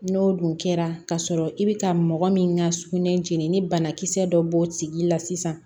N'o dun kɛra kasɔrɔ i bɛ ka mɔgɔ min ka sugunɛ jeni ni banakisɛ dɔ bɔr'o tigi la sisan